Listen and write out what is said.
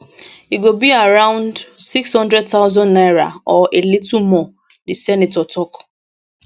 e go be around 600000 naira or a little more di senator tok